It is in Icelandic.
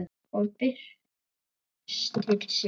Og byrstir sig.